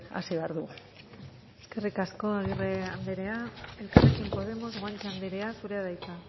lanean hasi behar dugu eskerrik asko agirre anderea elkarrekin podemos guanche anderea zurea da hitza